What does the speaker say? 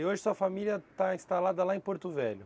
E hoje sua família está instalada lá em Porto Velho?